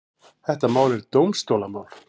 Þetta mál er dómstólamál.